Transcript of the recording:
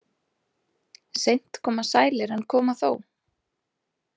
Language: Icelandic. Seint koma sælir en koma þó.